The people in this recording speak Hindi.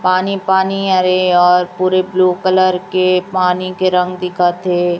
पानी पानी अरे और पूरे ब्लू कलर के पानी के रंग दिखत हैं।